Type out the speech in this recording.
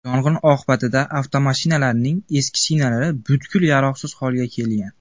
Yong‘in oqibatida avtomashinalarning eski shinalari butkul yaroqsiz holga kelgan.